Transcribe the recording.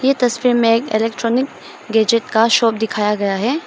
तस्वीर में एक इलेक्ट्रॉनिक गैजेट का शॉप दिखाया गया है।